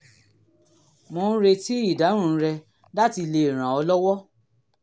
mò ń retí ìdáhùn rẹ láti lè ràn ràn ọ́ lọ́wọ́